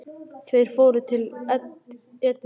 Þeir fóru til Edinborgar.